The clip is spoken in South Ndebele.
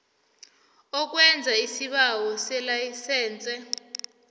ukwenza isibawo selayisense